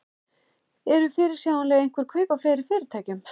Eru fyrirsjáanleg einhver kaup á fleiri fyrirtækjum?